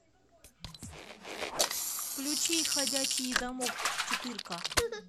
включи ходячий замок четырка